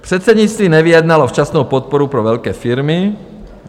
Předsednictví nevyjednalo včasnou podporu pro velké firmy.